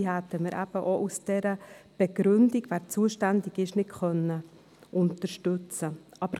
Wir hätten diese wegen der Begründung zur Zuständigkeit nicht unterstützen können.